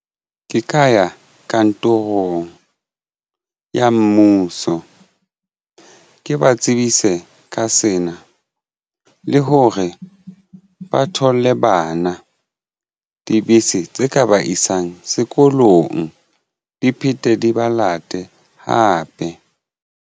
Ke ka ya kantorong ya mmuso ke ba tsebise ka sena le hore ba thole bana dibese tse ka ba isang sekolong di phete di ba late hape.